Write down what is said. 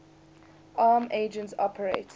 arm agents operate